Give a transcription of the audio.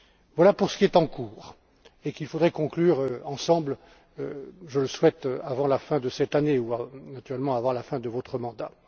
Voilà pour ce qui est en cours et qu'il faudrait conclure ensemble je le souhaite avant la fin de cette année, voire éventuellement avant la fin de votre mandat.